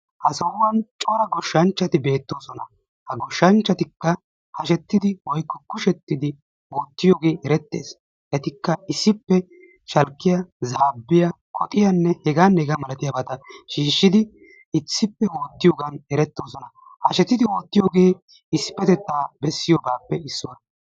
Ha sohuwan cora goshshanchati beetoosona. ha goshanchchatikka kushettidai oottiyogee eretees. shalkkiya zaabiya koxxiyanne xikkiya shiishidi issippe ootiyogan eretoosona. hashettidi oottiyoge issipetettan ootiyogaappe issuwa.